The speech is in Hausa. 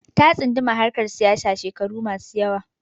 Ta tsunduma acikin harkar siyasa shekaru masu yawa